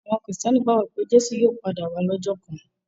Àwọn Kìrìtẹ́ẹ́nì gbàgbọ́ pé Jésù yóò padà wá lọ́jọ́ kan.